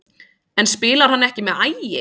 En spilar hann ekki með Ægi?